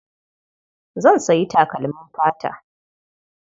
Zan sayi takalmin fata.